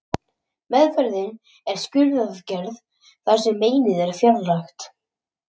Meðferðin er skurðaðgerð þar sem meinið er fjarlægt.